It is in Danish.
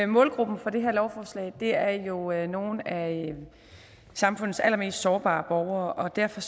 målgruppen for det her lovforslag er jo nogle nogle af samfundets allermest sårbare borgere og derfor